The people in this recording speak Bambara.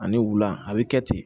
Ani wula a bi kɛ ten